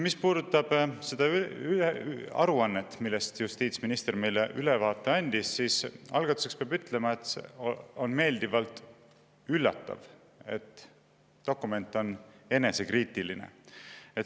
Mis puudutab seda aruannet, millest justiitsminister meile ülevaate andis, siis algatuseks peab ütlema, et on meeldivalt üllatav, et dokument on enesekriitiline.